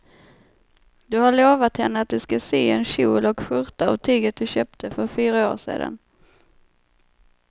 Du har lovat henne att du ska sy en kjol och skjorta av tyget du köpte för fyra år sedan.